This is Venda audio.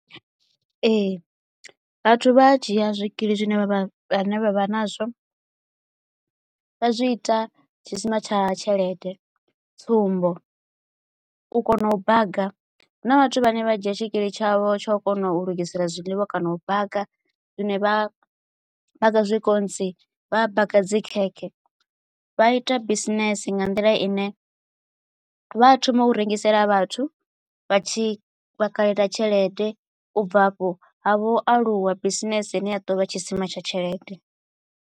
Ee vhathu vhaa dzhia zwikili zwine vha vha vha vha nazwo vha zwi ita tshisima tsha tshelede tsumbo u kona u baga huna vhathu vhane vha dzhia tshikili tshavho tsha kona u lugisela zwiḽiwa kana u baga zwine vha vha baga zwikontsi vha a baka dzi khekhe vha ita bisinese nga nḓila ine vha thoma u rengisela vhathu vha tshi vhakalela tshelede u bva hafho ha vho aluwa bisinese ine ya to vha tshisima tsha tshelede.